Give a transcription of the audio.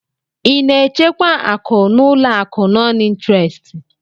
Ị na-echekwa akụ n'ụlọ akụ nọn ịntrestị?